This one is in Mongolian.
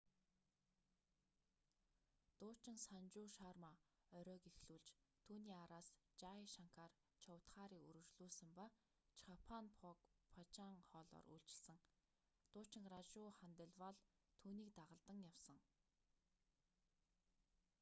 дуучин санжу шарма оройг эхлүүлж түүний араас жай шанкар чоудхари үргэлжлүүлсэн ба чхаппан бхог бхажан хоолоор үйлчилсэн дуучин ражу ханделвалл түүнийг дагалдан явсан